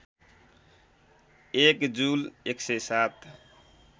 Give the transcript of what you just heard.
एक जुल १०७